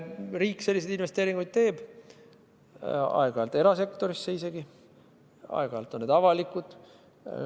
Riik selliseid investeeringuid teeb, aeg-ajalt erasektorisse isegi, aeg-ajalt on need avalikud.